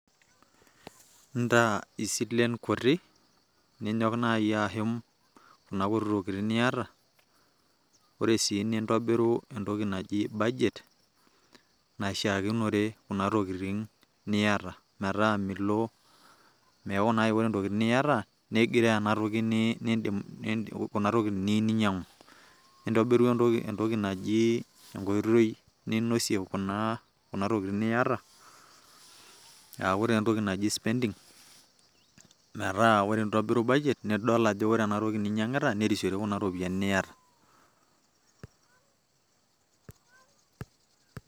Intaa isilen kuti, ninyok naji ashum kuna kuti tokitin niyata, ore sii nintobiru entoki naji budget naishiakinore kuna tokitin niyata metaa milo peeku naa ore ntokitin niyata nemegiroo kuna tokitin niyieu ninyang'u. Nintobiru entoki naji enkoitoi ninosie kuna tokitin niyata aaku taa entoki naji spending metaa ore intobiru budget nidol ajo ore enatoki ninyang'ita nerisiore kuna ropiyiani niyata.